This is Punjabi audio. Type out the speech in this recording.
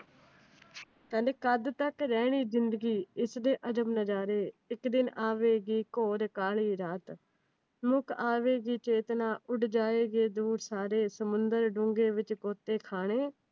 ਕਹਿੰਦੇ ਕਦ ਤੱਕ ਰਹਿਣੀ ਜਿੰਦਗੀ ਇਸ ਦੇ ਅਜਬ ਨਜ਼ਾਰੇ, ਇੱਕ ਦਿਨ ਆਵੇਗੀ ਕੌਰ ਕਾਲੀ ਰਾਤ, ਆਵੇਗੀ ਚੇਤਨਾ ਉੱਡ ਜਾਵਣਗੇ ਦੂਰ ਸਾਰੇ, ਸਮੁੰਦਰ ਡੂੰਗੇ ਦੇ ਵਿਚ ਘੋਤੇ ਖਾਣੇ।